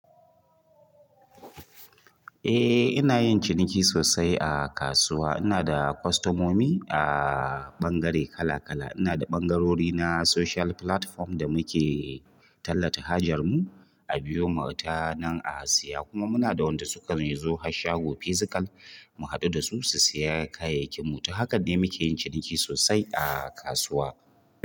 Eh ina yin ciniki sosai a kasuwa. Ina da kwastomomi a ɓangare kala kala. Ina da ɓangarori na social platform da muke tallata hajar mu, a biyo mu tanan a siya kuma muna da wanda sukan zo har shago fizikal mu haɗu da su, su siya kayakin mu. To hakan ne muke yin ciniki sosai a kasuwa.